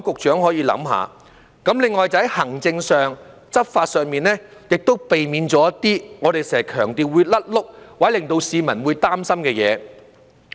此外，在行政及執法上，亦應避免一些我們經常強調會"甩轆"或令市民會擔心的事。